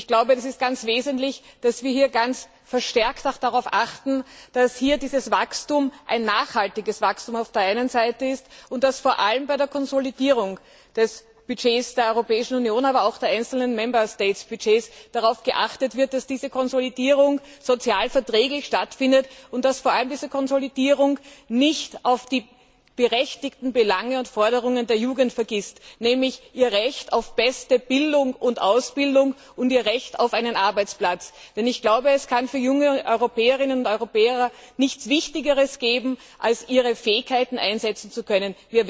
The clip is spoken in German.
Ich glaube, es ist ganz wesentlich, dass wir hier verstärkt auch darauf achten, dass dieses Wachstum auf der einen Seite ein nachhaltiges Wachstum ist und dass vor allem bei der Konsolidierung des Budgets der Europäischen Union, aber auch der einzelnen Budgets der Mitgliedstaaten darauf geachtet wird, dass diese Konsolidierung sozialverträglich stattfindet und dass vor allem diese Konsolidierung nicht die berechtigten Belange und Forderungen der Jugend vergisst, nämlich ihr Recht auf beste Bildung und Ausbildung und ihr Recht auf einen Arbeitsplatz. Denn ich glaube, es kann für junge Europäerinnen und Europäer nichts Wichtigeres geben, als ihre Fähigkeiten einsetzen zu können.